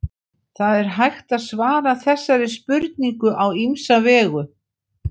það er hægt að svara þessari spurningu á ýmsa vegu